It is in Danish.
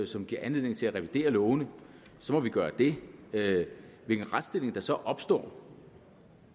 som giver anledning til at revidere lovene må vi gøre det hvilken retsstilling der så opstår